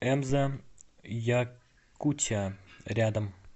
эмза якутия рядом